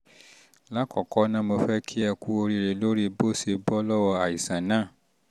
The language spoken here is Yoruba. lákọ̀ọ́kọ́ ná mo fẹ́ kí ẹ kú oríire lórí bó o ṣe bọ́ lọ́wọ́ àìsàn náà